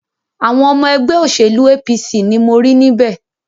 Àwọn ọmọ ẹgbẹ́ òṣèlú APC ni mo rí níbẹ̀.